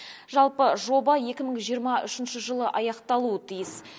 жалпы жоба екі мың жиырма үшінші жылы аяқталуы тиіс